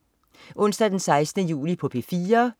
Onsdag den 16. juli - P4: